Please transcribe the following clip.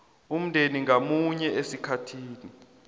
umndeni ngamunye esikhathini